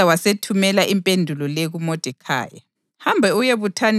U-Esta wasethumela impendulo le kuModekhayi: